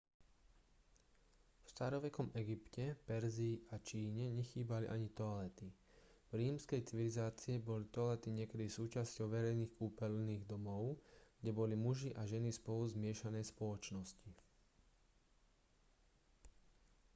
v starovekom egypte perzii a číne nechýbali ani toalety v rímskej civilizácii boli toalety niekedy súčasťou verejných kúpeľných domov kde boli muži a ženy spolu v zmiešanej spoločnosti